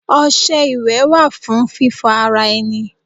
Ọṣẹ iwẹ wa fun fífò ara enì